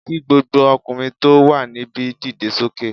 Kí gbogbo ọkùnrin tó wà níbi dìde sókè